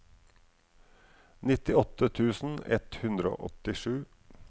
nittiåtte tusen ett hundre og åttisju